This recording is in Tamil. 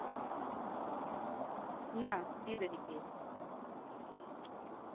என்ன சீரடிக்கு